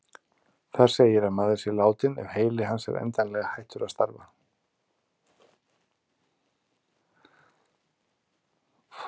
Þar segir að maður sé látinn ef heili hans er endanlega hættur að starfa.